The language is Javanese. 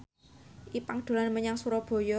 Ipank dolan menyang Surabaya